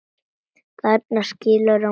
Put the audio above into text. Þarna skilur á milli.